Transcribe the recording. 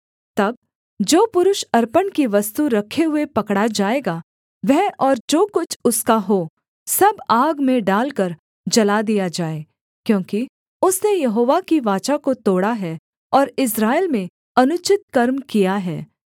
तब जो पुरुष अर्पण की वस्तु रखे हुए पकड़ा जाएगा वह और जो कुछ उसका हो सब आग में डालकर जला दिया जाए क्योंकि उसने यहोवा की वाचा को तोड़ा है और इस्राएल में अनुचित कर्म किया है